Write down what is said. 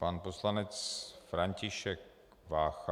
Pan poslanec František Vácha.